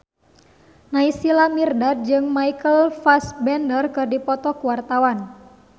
Naysila Mirdad jeung Michael Fassbender keur dipoto ku wartawan